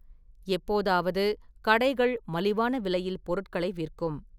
எப்போதாவது, கடைகள் மலிவான விலையில் பொருட்களை விற்கும்.